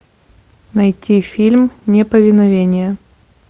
найти фильм неповиновение